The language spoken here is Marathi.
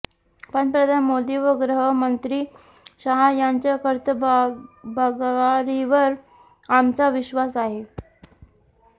पंतप्रधान मोदी व गृहमंत्री शहा यांच्या कर्तबगारीवर आमचा विश्वास आहे